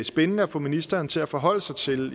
spændende at få ministeren til at forholde sig til